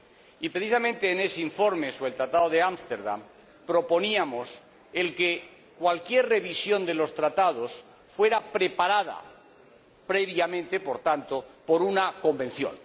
Y, precisamente en ese informe sobre el Tratado de Amsterdam, proponíamos que cualquier revisión de los Tratados fuese preparada previamente, por tanto, por una Convención.